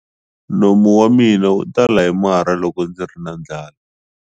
Nomu wa mina wu tala hi marhi loko ndzi ri na ndlala.